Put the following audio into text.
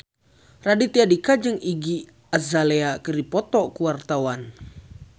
Raditya Dika jeung Iggy Azalea keur dipoto ku wartawan